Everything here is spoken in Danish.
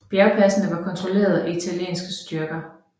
Bjergpasene var kontrollet af italienske styrker